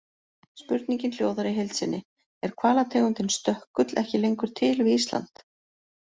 Spurningin hljóðar í heild sinni: Er hvalategundin stökkull ekki lengur til við Ísland?